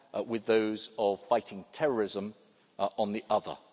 hand, with those of fighting terrorism, on the other.